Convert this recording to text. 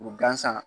Gansan